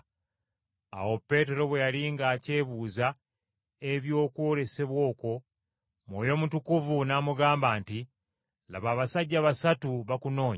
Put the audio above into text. Awo Peetero bwe yali ng’akyebuuza eby’okwolesebwa okwo, Mwoyo Mutukuvu n’amugamba nti, “Laba, abasajja basatu bakunoonya.